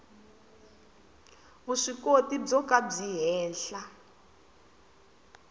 vuswikoti byo ka byi henhla